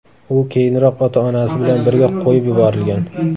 U keyinroq ota-onasi bilan birga qo‘yib yuborilgan.